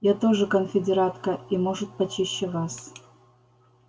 я тоже конфедератка и может почище вас